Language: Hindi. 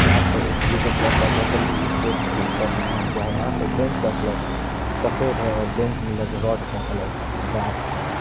यहां पे एक येलो कलर का बोतल भी एक बेंच के ऊपर रखा हुआ है यहां पे बेंच का कलर सफेद है और बेंच में लगे रॉड का कलर ब्लैक है यहां --